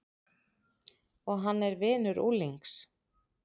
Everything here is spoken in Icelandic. Og hann er vinur unglings.